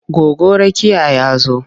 Goggo Rakiya ya zo.